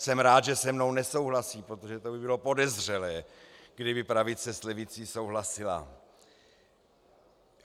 Jsem rád, že se mnou nesouhlasí, protože to by bylo podezřelé, kdyby pravice s levicí souhlasila.